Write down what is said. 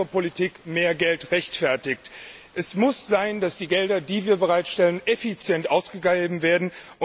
dass bessere Politik mehr Geld rechtfertigt. Es muss sein, dass die Gelder, die wir bereitstellen, effizient ausgegeben werden.